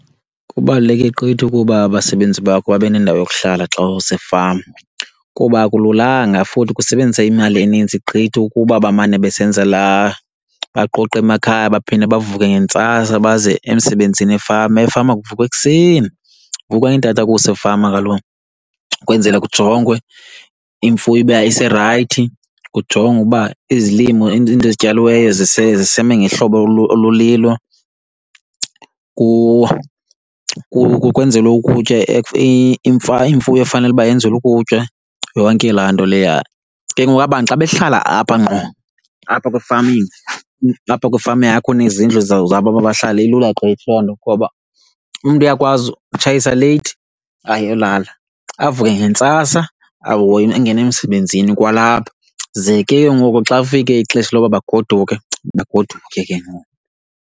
Kubaluleke gqithi ukuba abasebenzi bakho babe nendawo yokuhlala xa usefama kuba akululanga futhi kusebenzisa imali enintsi gqithi ukuba bamane besenza laa, baqoqe emakhaya baphinde bavuke ngentsasa baze emsebenzini efama. Efama kuvukwa ekuseni kuvukwa ngeentathakusa efama kaloku kwenzela kujongwe imfuyo uba iserayithi, kujongwe uba izilimo into ezityaliweyo zisami ngehlobo olulilo kwenzelwe ukutya imfuyo efanele uba yenzelwe ukutya, yonke laa nto leya. Ke ngoku aba' ntu xa behlala apha ngqo apha kwi-farming, apha kwifama yakho enezindlu zabo aba bahlali ilula gqithi loo nto ngoba umntu uyakwazi utshayisa leyithi ayolala avuke ngentsasa ahoye angene emsebenzini kwalapha. Ze ke ngoku xa kufike ixesha loba bagoduke, bagoduke ke ngoku.